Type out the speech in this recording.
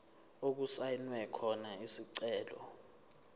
okusayinwe khona isicelo